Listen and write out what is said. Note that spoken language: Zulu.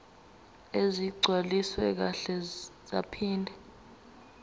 ezigcwaliswe kahle zaphinde